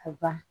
A ban